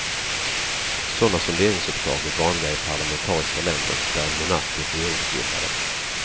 Sådanda sonderingsuppdrag är vanliga i parlamentariska länder där en monark är regeringsbildare.